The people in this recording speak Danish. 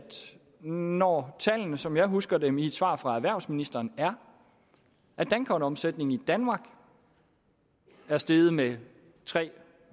når tallene som jeg husker dem i et svar fra erhvervsministeren er at dankortomsætningen i danmark er steget med tre